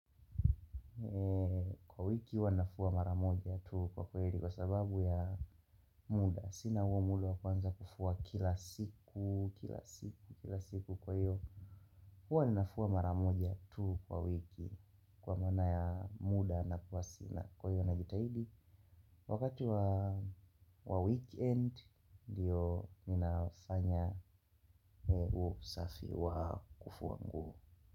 Kwa wiki huwa nafua maramoja tu kwa kweli kwa sababu ya muda. Sina huo muda wakuanza kufua kila siku, kila siku, kila siku kwa hiyo. Huwa ninafua mara moja tu kwa wiki kwa maana ya muda na kuwa sina kwa hiyo najitahidi. Wakati wa weekend ndiyo ninafanya huo safi wa kufua nguo.